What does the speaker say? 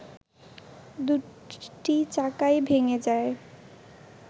দুটি চাকাই ভেঙে যায়